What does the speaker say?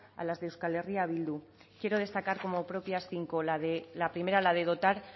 a las de euskal herria bildu quiero destacar como propias cinco la de la primera la de dotar